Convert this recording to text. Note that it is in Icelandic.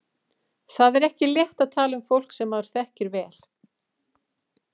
Það er ekki létt að tala um fólk sem maður þekkir vel.